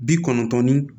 Bi kɔnɔntɔn ni